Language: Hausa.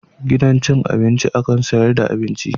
Gidan cin abinci akan sayar da abinci.